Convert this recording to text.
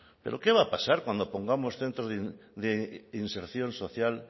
pero qué va a pasar cuando pongamos centros de inserción social